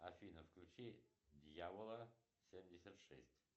афина включи дьявола семьдесят шесть